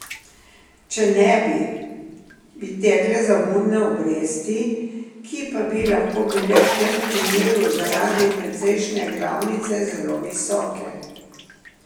Če ne bi, bi tekle zamudne obresti, ki pa bi lahko bile v tem primeru zaradi precejšnje glavnice zelo visoke.